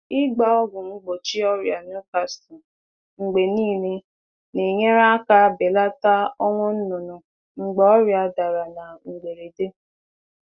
Ịgbasa ọgwụ megide ọrịa Newcastle mgbe niile na-enyere aka belata ọnwụ belata ọnwụ anụ ọkụkọ n’oge mgbasa ọrịa mberede.